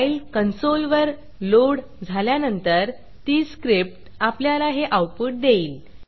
file कन्सोलवर load झाल्यानंतर ती स्क्रिप्ट आपल्याला हे आऊटपुट देईल